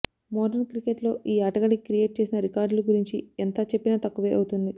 modern క్రికెట్లో ఈ ఆటగాడి క్రియేట్ చేసిన రికార్డులు గురించి ఎంత చెప్పినా తక్కువే అవుతోంది